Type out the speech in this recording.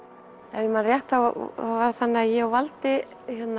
ef ég man rétt var þannig að ég og valdi